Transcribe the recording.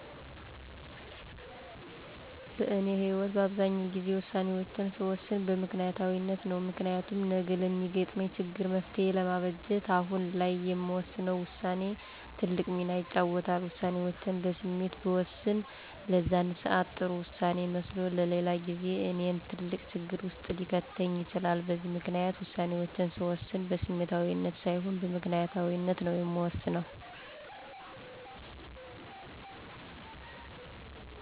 በእኔ ህይወት በአብዛኛው ግዜ ውሳኔወችን ስወስን በምክንያታዊነት ነው። ምክንያቱም ነገ ለሚገትመኝ ችግር መፍትሄ ለማበጀት አሁን ላይ የምወስነው ውሳኔ ትልቅ ሚና ይጫወታል። ውሳኔውቼን በስሜት ብወስን ለዛን ሰአት ጥሩ ውሳኔ መስሎ ለሌላ ጊዜ እኔን ትልቅ ችግር ውስጥ ሊከተኝ ይችላል በዚህ ምክንያት ውሳኔወቼን ስወስን በስሜታዊነት ሳይሆን በምክንያታዊነት ነው የምወስነው።